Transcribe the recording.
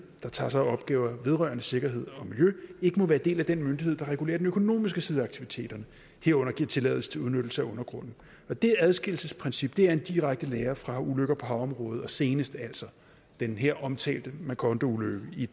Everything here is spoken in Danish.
der tager sig af opgaver vedrørende sikkerhed og miljø ikke må være del af den myndighed der regulerer den økonomiske side af aktiviteterne herunder giver tilladelse til udnyttelse af undergrunden og det adskillelsesprincip er en direkte lære fra ulykker på havområdet og senest altså den her omtalte macondoulykke i